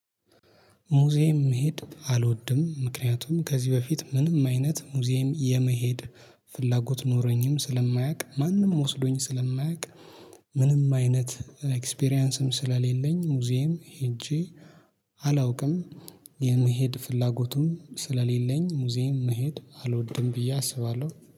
ሙዚየም መሄድ አልወድም ምክንያቱም ከዚህ በፊት ምንም አይነት ሙዚየም የመሄድ ፍላጎት ኖረኝም ስለማያውቅ ማንም ወስዶኝ ስለማያውቅ ምንም አይነት ኤክስፒሪያንስም ስለሌለኝ ሙዚየም ሄጄ አላውቅም። የመሄድ ፍላጎቱን ስለሌለኝ ሙዚየም መሄድ አልወድም ብዬ አስባለሁ።